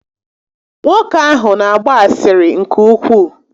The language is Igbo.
Nwoke ahụ n'agba asịrị nke ukwuu